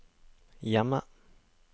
hjemme